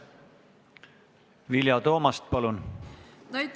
Vilja Toomast, palun!